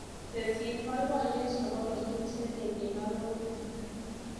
Tesyi baibayet nebo kenyit nelel eng arorutik.